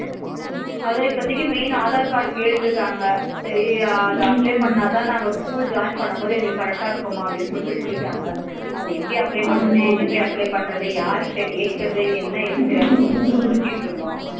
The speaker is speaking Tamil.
அத இப்பதிக்கு main aadhar card கேட்ருக்காங்க சரி அத apply பண்ணாத நாங்க school join பண்ணும்போத எங்களுக்கு correct இருக்கும்மா அப்டினு சொல்லிட்டு சொல்லிட்டாங்க அத எப்பிடி apply பண்றது எங்க போய் apply பண்றது யாரு கிட்ட கேக்குறது என்ன எதுனு தெரியாம ரொம்ப முழிச்சிட்டு இருந்தோம்